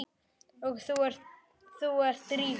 Og þú ert Drífa?